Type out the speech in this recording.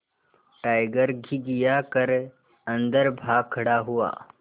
tiger घिघिया कर अन्दर भाग खड़ा हुआ